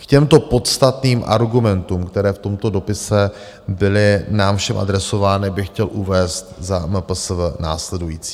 K těmto podstatným argumentům, které v tomto dopise byly nám všem adresovány, bych chtěl uvést za MPSV následující.